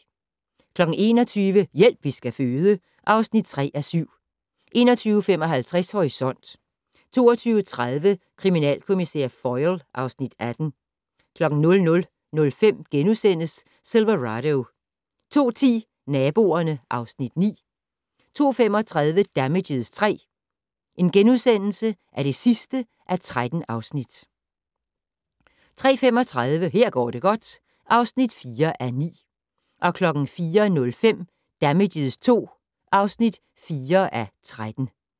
21:00: Hjælp, vi skal føde (3:7) 21:55: Horisont 22:30: Kriminalkommissær Foyle (Afs. 18) 00:05: Silverado * 02:10: Naboerne (Afs. 9) 02:35: Damages III (13:13)* 03:35: Her går det godt (4:9) 04:05: Damages II (4:13)